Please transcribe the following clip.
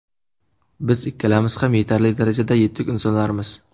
Biz ikkalamiz ham yetarli darajada yetuk insonlarmiz.